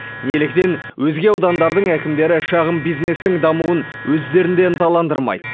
неліктен өзге аудандардың әкімдері шағын бизнестің дамуын өздерінде ынталандырмайды